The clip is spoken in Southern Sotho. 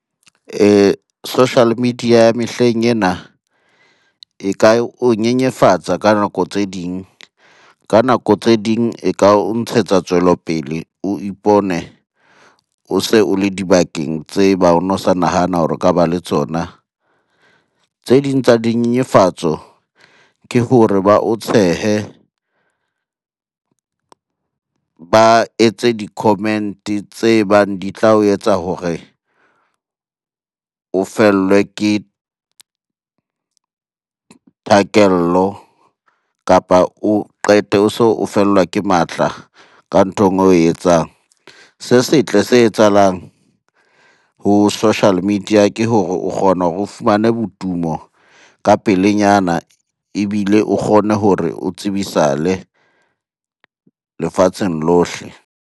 Social media ya mehleng ena e ka o nyenyefatsa ka nako tse ding, ka nako tse ding e ka o ntshetsa tswelopele. O ipone o se o le dibakeng tse bang o no sa nahana hore o ka ba le tsona. Tse ding tsa dinyenyefatso ke hore ba o tshehe, ba etse di-comment-e tse bang di tla o etsa hore o fellwe ke kapa o qete o so o fellwa ke matla ka nthong oe etsang. Se setle se etsahalang ho social media ke hore o kgona hore o fumane botumo ka pelenyana, ebile o kgone hore o tsebisale lefatsheng lohle.